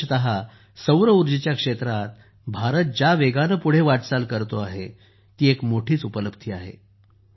विशेषत सौरऊर्जेच्या क्षेत्रात भारत ज्या वेगाने पुढे वाटचाल करतो आहे ती एक मोठीच उपलब्धी आहे